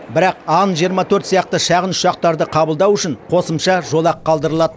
бірақ ан жиырма төрт сияқты шағын ұшақтарды қабылдау үшін қосымша жолақ қалдырылады